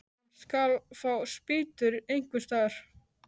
Hann skal fá spýtur einhvers staðar.